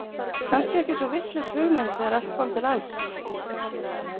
Kannski ekki svo vitlaus hugmynd þegar allt kom til alls.